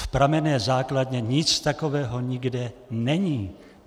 V pramenné základně nic takového nikde není.